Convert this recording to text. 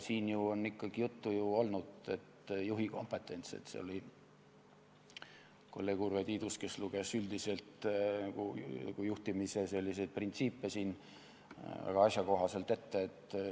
Siin on juttu olnud juhi kompetentsist, kolleeg Urve Tiidus luges juhtimise printsiipe väga asjakohaselt ette.